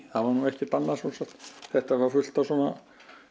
það var nú ekkert annað svo sem þetta var fullt af svona